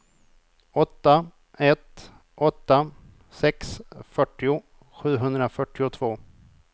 åtta ett åtta sex fyrtio sjuhundrafyrtiotvå